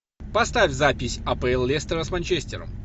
поставь запись апл лестера с манчестером